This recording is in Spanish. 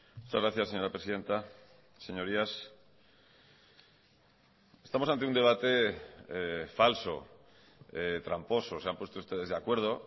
muchas gracias señora presidenta señorías estamos ante un debate falso tramposo se han puesto ustedes de acuerdo